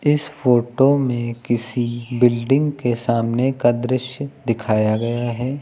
इस फोटो में किसी बिल्डिंग के सामने का दृश्य दिखाया गया है।